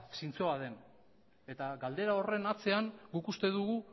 zintzoa den eta galdera horren atzean guk uste dugu